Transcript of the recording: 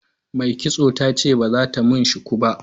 Mai kitson ta ce ba za ta mun shuku ba.